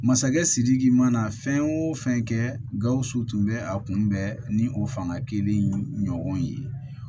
Masakɛ sidiki mana fɛn o fɛn kɛ gawusu tun bɛ a kunbɛn ni o fanga kiliyan ɲɔgɔn ye